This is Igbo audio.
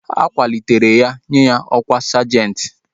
A kwalitere ya nye ya ọkwá sajenti